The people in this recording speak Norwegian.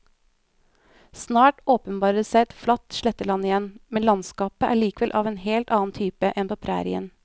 Snart åpenbarer det seg et flatt sletteland igjen, men landskapet er likevel av en helt annen type enn på prærien.